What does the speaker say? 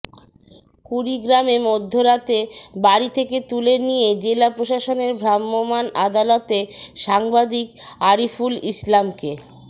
কুড়িগ্রামে মধ্যরাতে বাড়ি থেকে তুলে নিয়ে জেলা প্রশাসনের ভ্রাম্যমাণ আদালতে সাংবাদিক আরিফুল ইসলামকে